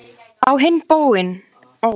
Á hinn bóginn: heilshugar faðir og ástfanginn.